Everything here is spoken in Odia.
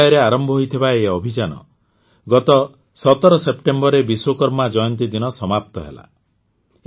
୫ ଜୁଲାଇରେ ଆରମ୍ଭ ହୋଇଥିବା ଏହି ଅଭିଯାନ ଗତ ୧୭ ସେପ୍ଟେମ୍ବରରେ ବିଶ୍ୱକର୍ମା ଜୟନ୍ତୀ ଦିନ ସମାପ୍ତ ହେଲା